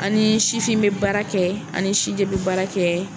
An ni sifin bɛ baara kɛ an ni si jɛ bɛ baara kɛ.